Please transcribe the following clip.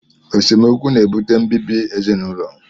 Esemokwu na-ebute mbibi ezinụlọ